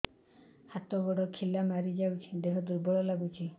ହାତ ଗୋଡ ଖିଲା ମାରିଯାଉଛି ଦେହ ଦୁର୍ବଳ ଲାଗୁଚି